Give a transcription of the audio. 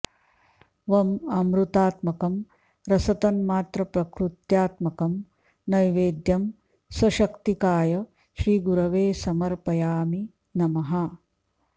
वं अमृतात्मकं रसतन्मात्रप्रकृत्यात्मकं नैवेद्यं सशक्तिकाय श्रीगुरवे समर्पयामि नमः